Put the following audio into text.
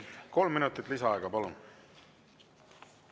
Kolm minutit lisaaega, palun!